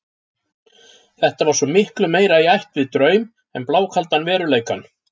Þetta var svo miklu meira í ætt við draum en blákaldan veruleikann.